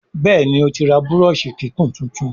Béèni otí rà Búrọ́ọ̀ṣì kíkún títún.